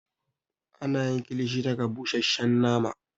Ana yi kilishi daga busheshshen nama